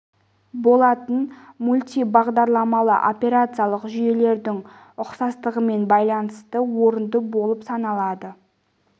болатын мультибағдарламалы операциялық жүйелердің ұқсастығымен байланысы орынды болып саналады